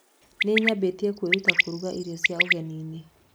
Nĩnyambĩtie kwĩruta kũruga irio cia ũgeninĩ.